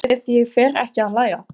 Gott ef ég fer ekki að hlæja.